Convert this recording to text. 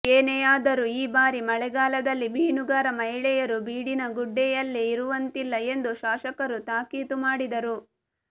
ಏನೇ ಆದರೂ ಈ ಬಾರಿ ಮಳೆಗಾಲದಲ್ಲಿ ಮೀನುಗಾರ ಮಹಿಳೆಯರು ಬೀಡಿನಗುಡ್ಡೆಯಲ್ಲಿ ಇರುವಂತಿಲ್ಲ ಎಂದು ಶಾಸಕರು ತಾಕೀತು ಮಾಡಿದರು